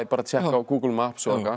tékka á Google Maps